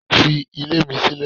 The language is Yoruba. Fi ilé mi sílẹ̀.